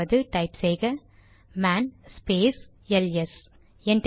அதாவது டைப் செய்க man space LS